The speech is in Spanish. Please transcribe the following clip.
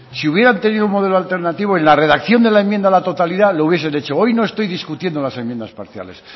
si hubieran tenido un modelo alternativo en la redacción de la enmienda a la totalidad la hubiesen hecho hoy no estoy discutiendo las enmiendas parciales